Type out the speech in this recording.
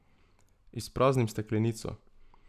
Izpraznim steklenico.